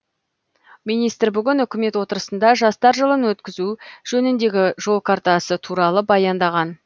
министр бүгін үкімет отырысында жастар жылын өткізу жөніндегі жол картасы туралы баяндаған